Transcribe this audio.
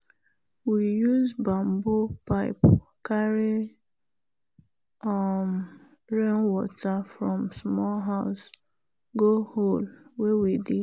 we use bamboo pipe carry um rainwater from small house go hole wey we dig.